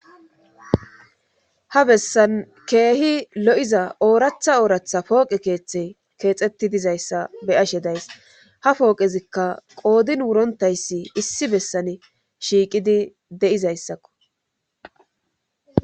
ha bessan keehi lo7iza ooratha ooratha pooqe keeththe keexetti dizayssa be'ashe days ha pooqezikka qoodin wurontayssi issi bessan shiiqidi de7izayssakko